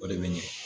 O de bɛ ɲɛ